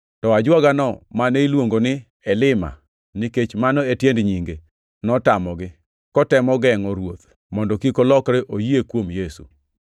To ajuogano mane iluongo ni Elima (nikech mano e tiend nyinge) notamogi, kotemo gengʼo ruoth mondo kik olokre oyie kuom Yesu.